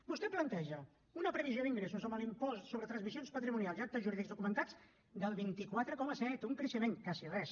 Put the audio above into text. vostè planteja una previsió d’ingressos amb l’impost sobre transmissions patrimonials i actes jurídics documentats del vint quatre coma set un creixement quasi res